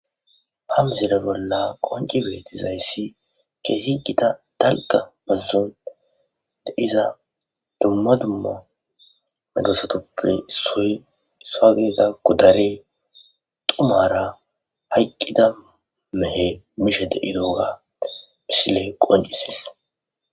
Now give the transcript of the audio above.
Ha missile bolla qoncci bettizayssi kehhi giitta daalgga baazon deiiza dumma dumma medossatuppe isso giddida goddarey dhummara hayqqida mehe mishe deiiyogga missiley qonccisses.